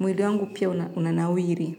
Mwili wangu pia unanawiri.